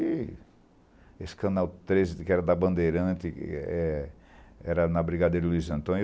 E esse canal treze, que era da Bandeirante,e ê é era na Brigadeiro Luiz Antônio.